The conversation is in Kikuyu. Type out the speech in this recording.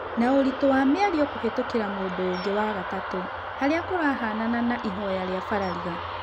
Na ũritũ wa mĩario kũhetũkĩra mũndũ ũngĩ wa-gatatu harĩa kũrahanana na ihoya rĩa Barariga.